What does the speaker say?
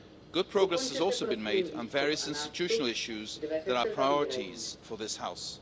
Good progress has been made, too, on various institutional issues that are priorities for this House.